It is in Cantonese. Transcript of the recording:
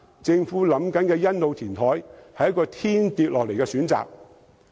政府現時計劃的欣澳填海，正是一個天掉下來的選擇。